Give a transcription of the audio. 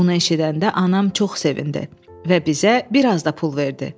Bunu eşidəndə anam çox sevindi və bizə bir az da pul verdi.